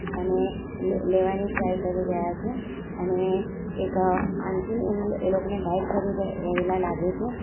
અને લે-લેવાની ટ્રાય કરી રહ્યા છે અને એક આંટી એમ એ લોકોને ગાઈડ કરી રહે રહેલા લાગે છે.